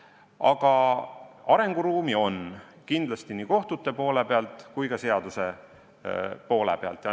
Aga arenguruumi on kindlasti nii kohtute poole pealt kui ka seaduse poole pealt vaadates.